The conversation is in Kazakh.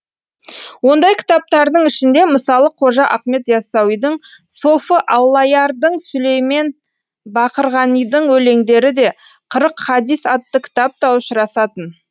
ондай кітаптардың ішінде мысалы қожа ахмет яссауидің софы аллаярдың сүлеймен бақырғанидың өлеңдері де қырық хадис атты кітап та ұшырасатын